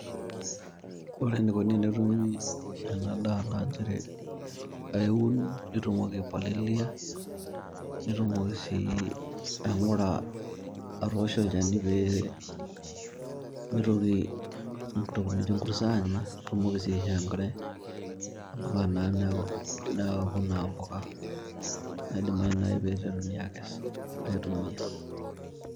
Ore enikoni tenetumi ena daa naa nchere aiun nitumoki aipalilia, nitumoki aing'ura, niosh olchani mitoki inkurt aanya nintoki sii aisho enkare, neuku naa impuka naidimayu naai pee iteruni aakes, aitumia.